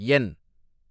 என்